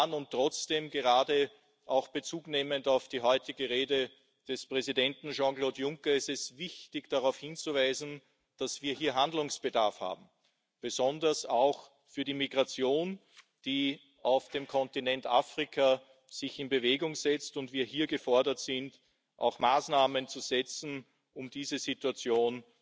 Und trotzdem, gerade Bezug nehmend auf die heutige Rede des Präsidenten Jean Claude Juncker, ist es wichtig, darauf hinzuweisen, dass wir hier Handlungsbedarf haben, besonders in Bezug auf die Migration, die sich auf dem Kontinent Afrika in Bewegung setzt und wo wir hier gefordert sind, Maßnahmen zu setzen, um diese Situation